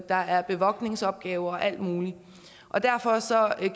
der er bevogtningsopgaver og alt muligt og derfor